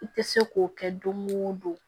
I tɛ se k'o kɛ don o don